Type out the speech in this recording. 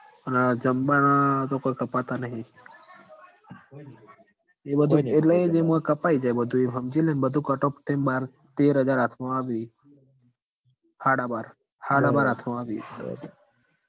અન આ જંબાના તો કોય કપાતા નહીં એટલે એમાં કપાય જાય બધું એમ હમજી લે ન બધું cutoff થઇ ન બાર તેર હજાર હાથમાં આવી હાડા બાર હાડા બાર હાથમાં આવી